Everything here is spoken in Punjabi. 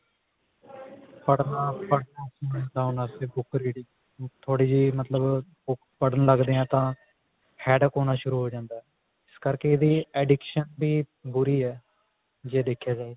ਪੜਣਾ ਪੜਣਾ ਉਹਨਾ ਵਾਸਤੇ book reading ਥੋੜੀ ਜੀ ਮਤਲਬ ਪੜਣ ਲੱਗਦੇ ਹਾਂ headache ਹੋਣਾ ਸ਼ੁਰੂ ਹੋ ਜਾਂਦਾ ਇਸ ਕਰਕੇ ਵੀ addiction ਬੁਰੀ ਹੈ ਜੇ ਦੇਖਿਆ ਜਾਵੇ